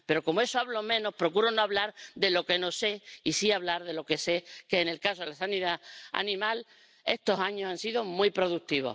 Pero como eso lo conozco menos, procuro no hablar de lo que no sé y sí hablar de lo que sé, que, en el caso de sanidad animal, estos años han sido muy productivos.